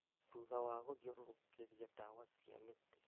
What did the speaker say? Thutha wa gũthĩũrũrũkĩria ndawa cia mĩtĩ